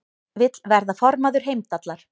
Vill verða formaður Heimdallar